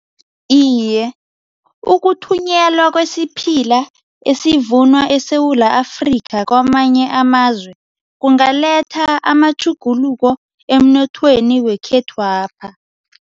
Iye, ukuthunyelwa kwesiphila esivunwa eSewula Afrika kwamanye amazwe kungaletha amatjhuguluko emnothweni wekhethwapha.